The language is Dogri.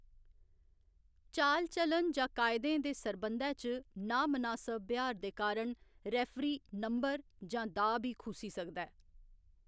चाल चलन जां कायदें दे सरबंधै च नांमनासब ब्यहार दे कारण रेफरी नंबर जां दाऽ बी खुस्सी सकदा ऐ।